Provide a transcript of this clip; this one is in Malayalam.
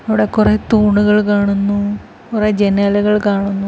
ഇവിടെ കൊറേ തൂണുകൾ കാണുന്നു കൊറേ ജനലുകൾ കാണുന്നു.